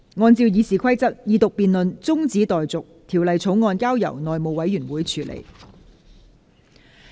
按照《議事規則》，二讀辯論中止待續，條例草案交由內務委員會處理。